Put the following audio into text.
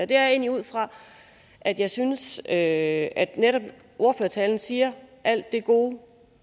det er jeg ud fra at jeg synes at netop i ordførertalen siger alt det gode